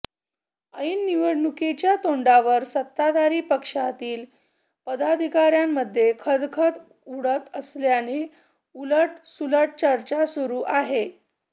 ऐन निवडणुकांच्या तोंडावर सत्ताधारी पक्षातील पदाधिकार्यांमध्ये खदखद उघड झाल्याने उलट सुलट चर्चा सुरू आहे